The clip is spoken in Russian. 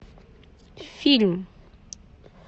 фильм